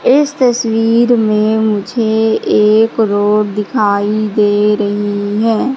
इस तस्वीर में मुझे एक रोड दिखाई दे रही है।